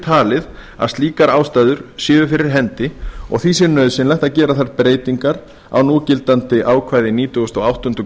talið að slíkar ástæður séu fyrir hendi og því sé nauðsynlegt að gera þær breytingar á núgildandi ákvæði nítugasta og áttundu